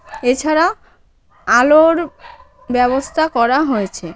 এছাড়া আলোর ব্যবস্থা করা হয়েছে।